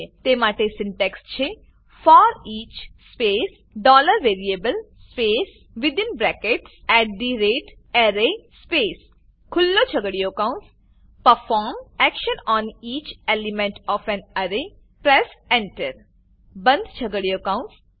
તે માટે સિન્ટેક્સ છે for each space dollar variable space within brackets at the rate array space ખુલ્લો છગડીયો કૌંસ perform action on each element O F A N array press Enter બંધ છગડીયો કૌંસ